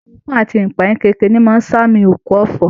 Ẹkún àti ìpayínkeke ni ó máa ń ṣàmì òkú ọ̀fọ̀